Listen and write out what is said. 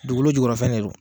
Dugukolo jugɔrɔfɛn de don.